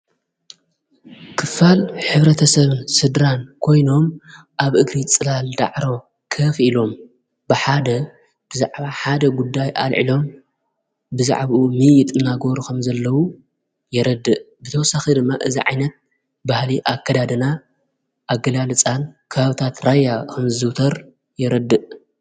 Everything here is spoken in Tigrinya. ክፋል ኅብረ ተሰብን ስድራን ኮይኖም ኣብ እግሪ ጽላል ዳዕሮ ከፍ ኢሎም ብሓደ ብዛዕሓደ ጉዳይ ኣልዒሎም ብዛዕብኡ ሚይ ጥናጐሩ ኸም ዘለዉ የረድእ ብተወሳኺ ድማ እዛዓይነት ባህሊ ኣከዳድና ኣገላ ልፃን ካሃውታት ራያ ኸም ዘዉተር የረድእ።